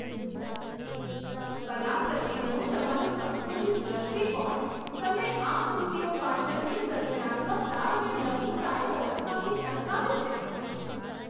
કલા પ્રત્યેનો તમારો સંકુચિત દૃષ્ટિકોણ તમને આ કૃતિઓ પાછળની સર્જનાત્મકતા અને નવીનતાને ઓળખવાથી અટકાવે છે.